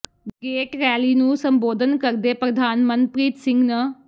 gate rally ਨੂੰ ਸੰਬੋਧਨ ਕਰਦੇ ਪ੍ਰਧਾਨ ਮਨਪ੍ਰਰੀਤ ਸਿੰਘ ਨ